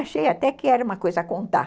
Achei até que era uma coisa a contar.